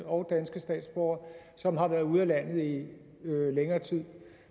og danske statsborgere som har været ude af landet i længere tid